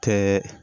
Kɛ